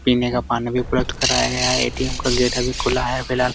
पीने का पानी भी उपलब्ध कराया गया है ए.टी.एम. का गेट अभी खुला है फ़िलहाल |